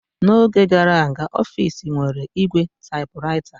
N'oge gara aga, ọfis nwere ígwè typewriter.